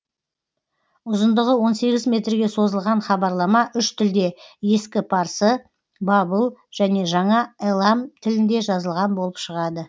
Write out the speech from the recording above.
ұзындығы он сегіз метрге созылған хабарлама үш тілде ескі парсы бабыл және жаңа элам тілінде жазылған болып шығады